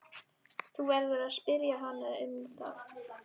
Þú verður að spyrja hana um það.